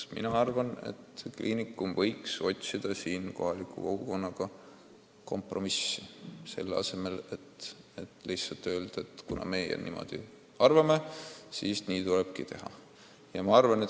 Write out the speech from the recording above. Ma arvan, et kliinikum võiks otsida kohaliku kogukonnaga kompromissi, selle asemel et lihtsalt öelda, et kuna meie niimoodi arvame, siis nii tulebki teha.